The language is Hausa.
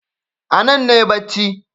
Anan nayi bacci